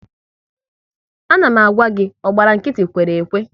A na m gwa gị "ọ gbara nkịtị, kwere ekwe! "